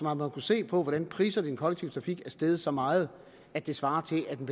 har måttet se på hvordan priserne i den kollektive trafik er steget så meget at det svarer til at en